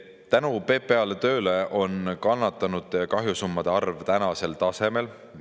Tänu PPA tööle on kannatanute ja kahjusummade arv tänasel tasemel.